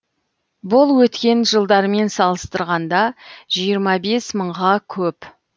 бұл өткен жылдармен салыстырғанда жиырма бес мыңға көп